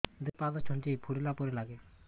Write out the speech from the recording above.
ଦୁଇ ପାଦ ଛୁଞ୍ଚି ଫୁଡିଲା ପରି ଲାଗେ